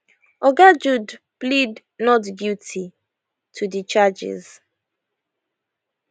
oga jude plead not guilty to di charges